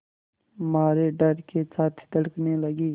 मारे डर के छाती धड़कने लगी